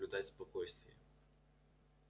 всем соблюдать спокойствие